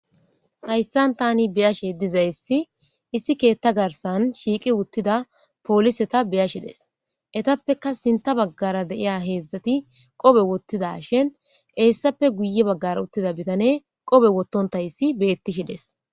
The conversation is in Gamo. Hayssan tani biyashe dizayssi issi keetta garsan shiiqi wuttida pooliseta beyashides etappeka sinta baggara deiya heedzdzati qobe wottida shin eessappe guye baggar uttida bitane qobe wottontayssi beettishides.